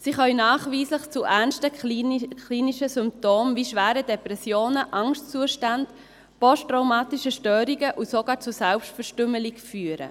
Sie können nachweislich zu ernsten klinischen Symptomen wie schweren Depressionen, Angstzuständen, posttraumatischen Störungen und sogar zu Selbstverstümmelungen führen.